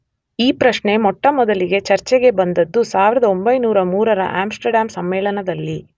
ಈ ಪ್ರಶ್ನೆ ಮೊಟ್ಟಮೊದಲಿಗೆ ಚರ್ಚೆಗೆ ಬಂದದ್ದು 1903ರ ಆಮ್್ಸಟರ್ಡ್ಯಾಂ ಸಮ್ಮೇಳನದಲ್ಲಿ.